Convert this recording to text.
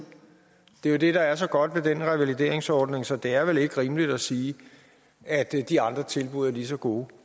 det er jo det der er så godt ved den revalideringsordning så det er vel ikke rimeligt at sige at de andre tilbud er lige så gode